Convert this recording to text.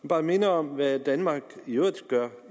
bare minde om hvad danmark i øvrigt gør